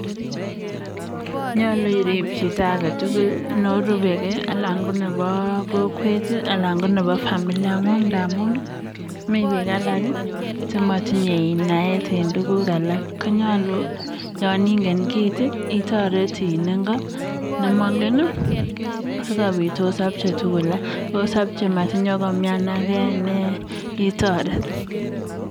nyaluu iriip chito age tugul ndamuun mii piik alak chimatinyee naet eng tugun checjhang ako magat ketareet kounotet